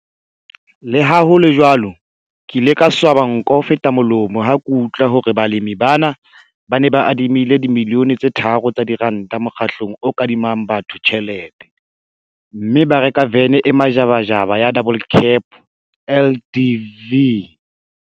Le ha ho le jwalo, ke ile ka swaba nko ho feta molomo ha ke utlwa hore balemi bana ba ne ba adimile R3 000 000 mokgatlong o kadimang batho tjhelete, mme ba reka vene e majabajaba ya double cab LDV!